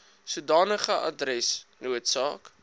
sodanige adres noodsaak